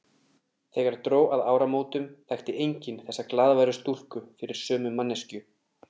Þegar dró að áramótum þekkti enginn þessa glaðværu stúlku fyrir sömu manneskju.